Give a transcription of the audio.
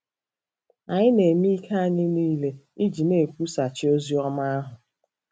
Anyị na-eme ike anyị niile iji na-ekwusachi ozi ọma anya.